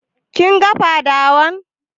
Kin ga fadawan?